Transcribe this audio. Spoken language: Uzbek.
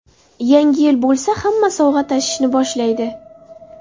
Yangi yil bo‘lsa, hamma sovg‘a tashishni boshlaydi.